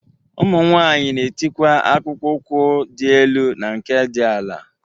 Ụmụ nwaanyị na-etikwa akpụkpo ụkwụ dị elu na nke dị ala.